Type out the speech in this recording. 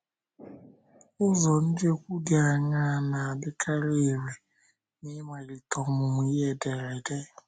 Ụzọ njekwu dị aṅaa na - adịkarị irè n’ịmalite ọmụmụ ihe ederede?